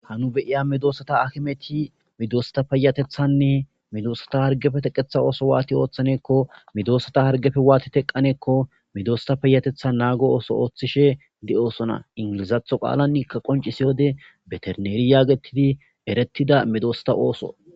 hanu beiya midoosata akimeti midoosata payatethanne midoosata hargefe teqetha ooso waati ooththaneekko midoosata hargefe waati teqqaneekko midosta peyatethan naago ooso ooththishe de7osona ingilizatho qaalan ikka qoncisiyode beterneeri yaagetidi erettida midoosata ooso